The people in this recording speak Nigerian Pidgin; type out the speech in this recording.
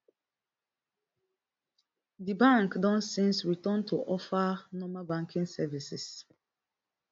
di bank don since return to offer normal banking services